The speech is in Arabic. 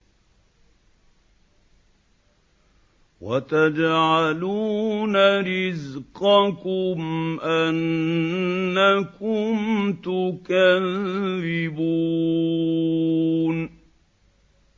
وَتَجْعَلُونَ رِزْقَكُمْ أَنَّكُمْ تُكَذِّبُونَ